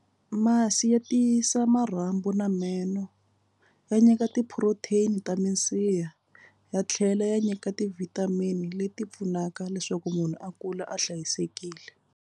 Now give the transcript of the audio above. Masi ya tiyisa marhambu na meno. Ya nyika ti-protein ta minsiha ya tlhela ya nyika ti-vitamin leti pfunaka leswaku munhu a kula a hlayisekile.